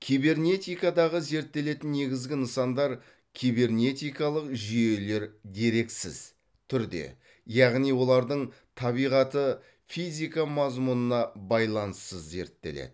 кибернетикадағы зерттелетін негізгі нысандар кибернетикалық жүйелер дерексіз түрде яғни олардың табиғаты физика мазмұнына байланыссыз зерттеледі